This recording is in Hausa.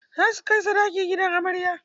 Za su kai sadaki gidan amarya.